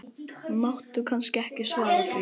Máttu kannski ekki svara því?